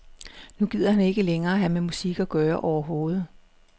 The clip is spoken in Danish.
Nu gider han ikke længere have med musik at gøre overhovedet.